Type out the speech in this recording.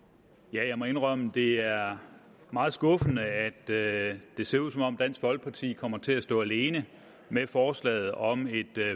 jeg må indrømme at det er meget skuffende at det ser ud som om dansk folkeparti kommer til at stå alene med forslaget om et